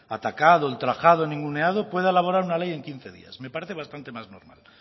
atacado ultrajado ninguneado pueda elaborar una ley en quince días me parece bastante más normal